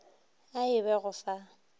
a e be go fa